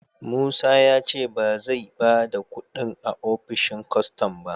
Musa ya ce ba zai ba da kudin a opishin kwastam ba